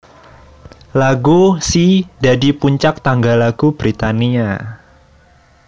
Lagu She dadi puncak tangga lagu Britania